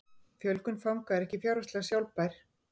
Fjölgun fanga er ekki fjárhagslega sjálfbær